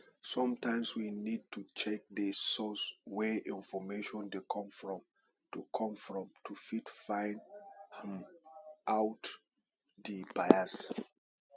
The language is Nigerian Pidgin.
sometimes we need to check di source wey information dey come from to come from to fit find um out di bias